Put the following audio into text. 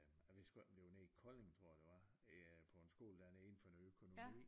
Jeg husker ikke om det var nede i Kolding tror jeg det var øh på en skole dernede inden for noget økonomi